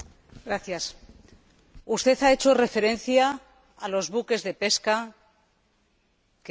Usted ha hecho referencia a los buques de pesca que faenan de manera ilegal.